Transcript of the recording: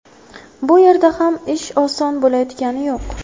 Bu yerda ham ish oson bo‘layotgani yo‘q.